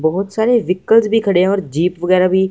बहुत सारे व्हीकल्स भी खड़े हैं और जीप वगैरह भी--